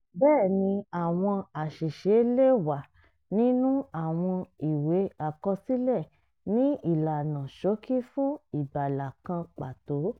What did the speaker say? bẹ́ẹ̀ni àwọn àṣìṣe lè wà nínú àwọn ìwé àkọsílẹ̀ ni ìlànà ṣókí fún ìgbàlà kan pàtó